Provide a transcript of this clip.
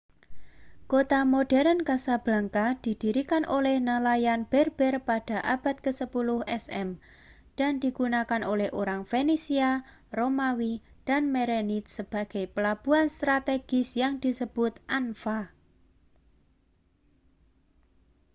kota modern casablanca didirikan oleh nelayan berber pada abad ke-10 sm dan digunakan oleh orang fenisia romawi dan merenid sebagai pelabuhan strategis yang disebut anfa